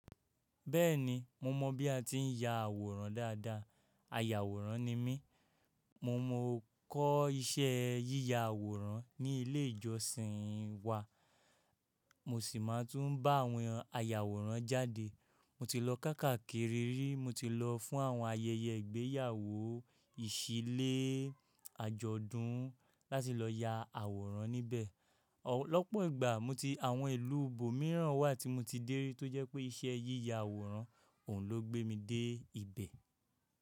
Bẹ́ẹ̀ni, mo mọ̀ bí a ti ń ya àwòrán dáadáa, ayàwòrán ni mí. Mo mọ kọ́ iṣẹ́ yíya àwòrán ní ilé ìjọsìn wa, mo sì máa tún bá àwọn ayàwòrán jáde. Mo ti lọ káàkiri rí, mo ti lọ fún àwọn ayẹyẹ ìgbéyàwó, ìṣílé, àjọ̀dún láti lọ ya àwòrán níbẹ̀. Lopo ìgbà mo ti àwọn ìlú ibòmíràn wà tí mo ti dé rí tó jẹ́ pé iṣẹ́ yíya àwòrán òun ló gbé mi dé ibẹ̀.